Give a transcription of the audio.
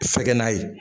Fɛgɛnna ye